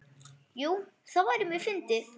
Jú, það væri mjög fyndið.